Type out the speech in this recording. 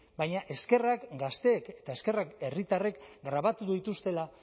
baina eskerrak gazteek eta eskerrak herritarrek grabatu dituztela